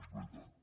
és veritat